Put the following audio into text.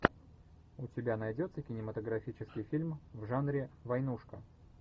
у тебя найдется кинематографический фильм в жанре войнушка